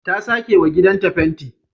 Ta sakewa gidanta fenti